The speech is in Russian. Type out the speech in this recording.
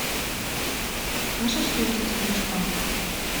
можешь включить кличко